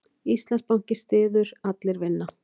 Íslandsbanki styður Allir vinna